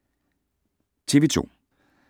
TV 2